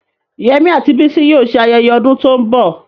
Yemi àti Bisi yóò ṣe ayẹyẹ ọdún tó ń bọ̀.